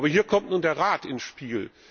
Aber hier kommt nun der Rat ins Spiel.